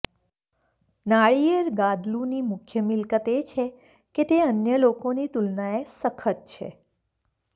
નાળિયેર ગાદલુંની મુખ્ય મિલકત એ છે કે તે અન્ય લોકોની તુલનાએ સખત છે